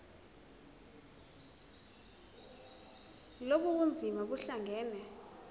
lobu bunzima buhlangane